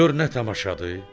Gör nə tamaşadır.